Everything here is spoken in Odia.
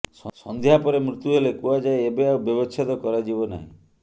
ସନ୍ଧ୍ୟାପରେ ମୁତ୍ୟୁ ହେଲେ କୁହାଯାଏ ଏବେ ଆଉ ବ୍ୟବଚ୍ଛେଦ କରାଯିବ ନାହିଁ